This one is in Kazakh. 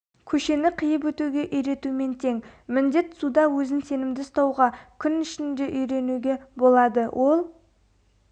көшені қиып өтуге үйретумен тең міндет суда өзін сенімді ұстауға кун ішінде үйретуге болады ол